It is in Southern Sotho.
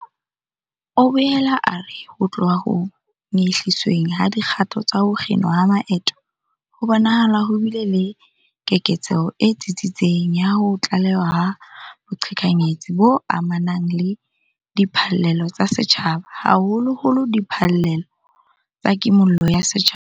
O boela a re ho tloha ho nyehlisweng ha dikgato tsa ho kginwa ha maeto, ho bonahala ho bile le keketseho e tsitsitseng ya ho tlalewa ha boqhekanyetsi bo amanang le diphallelo tsa setjhaba, haholoholo diphallelo tsa Kimollo ya Setjhaba.